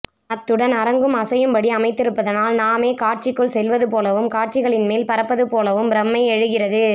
அத்துடன் அரங்கும் அசையும் படி அமைத்திருப்பதனால் நாமே காட்சிகளுக்குள் செல்வது போலவும் காட்சிகளின் மேல் பறப்பது போலவும் பிரமை எழுகிரது